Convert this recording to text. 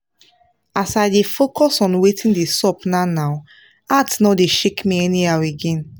as i dey focus on watin dey sup now now heart nor dey shake me anyhow again.